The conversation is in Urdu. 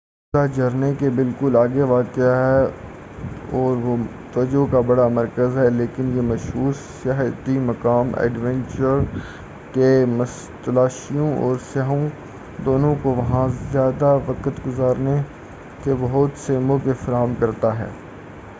یہ قصبہ جھرنے کے بالکل آگے واقع ہے اور وہ توجہ کا بڑا مرکز ہے لیکن یہ مشھور سیاحتی مقام ایڈونچر کے متلاشیوں اور سیاحوں دونوں کو وہاں زیادہ وقت گزارنے کے بہت سے مواقع فراہم کرتا ہے